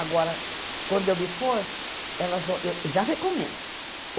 Agora, quando eu me for, elas vão, eu já recomendo.